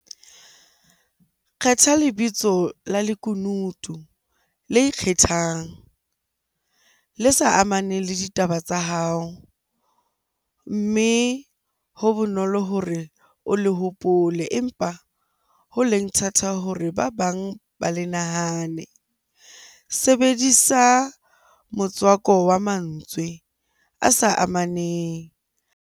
Kgetha lebitso la lekunutu le ikgethang, le sa amaneng le ditaba tsa hao. Mme ho bonolo hore o le hopole, empa ho leng thata hore ba bang ba le nahane. Sebedisa motswako wa mantswe a sa amaneng.